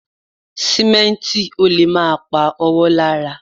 Sìmẹ́ǹtì ò lè má pa ọwọ́ lára